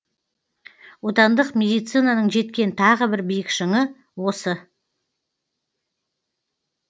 отандық медицинаның жеткен тағы бір биік шыңы осы